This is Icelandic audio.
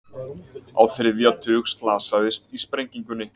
Á þriðja tug slasaðist í sprengingunni